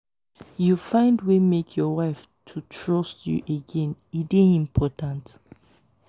you find wey make your wife to trust you again e dey important.